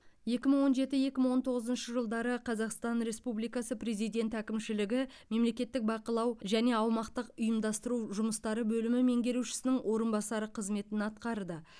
екі мың он жеті екі мың он тоғызыншы жылдары қазақстан республикасы президенті әкімшілігі мемлекеттік бақылау және аумақтық ұйымдастыру жұмыстары бөлімі меңгерушісінің орынбасары қызметін атқарды